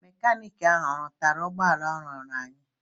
Mekanik ahụ ọ rụtara ụgbọala ụlọọrụ anyị?